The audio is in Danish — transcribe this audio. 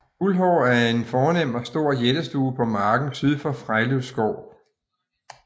Guldhøj er en fornem og stor jættestue på marken syd for Frejlev Skov